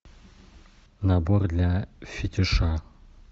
набор для фетиша